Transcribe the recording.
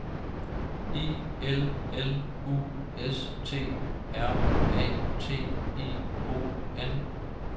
I L L U S T R A T I O N